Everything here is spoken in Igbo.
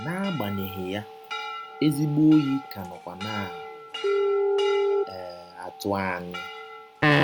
N’agbanyeghị ya, ezịgbọ ọyi ka nọkwa na um - atụ anyị.